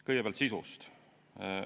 Kõigepealt sisust.